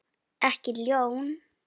Ekki ljón.